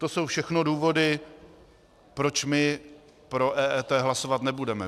To jsou všechno důvody, proč my pro EET hlasovat nebudeme.